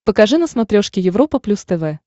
покажи на смотрешке европа плюс тв